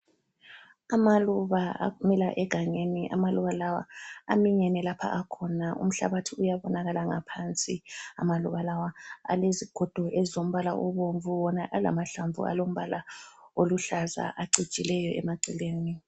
Amaluba amila egangeni amaluba lawa aminyene lapha akhona umhlabathi uyabonakala ngaphansi amaluba lawa alezigodo ezombala obomvu wona alamahlamvu alombala oluhlaza acijileyo emaceleni.